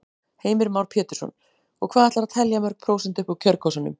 Heimir Már Pétursson: Og hvað ætlarðu að telja mörg prósent upp úr kjörkössunum?